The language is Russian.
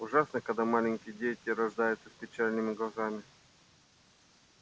ужасно когда маленькие дети рождаются с печальными глазами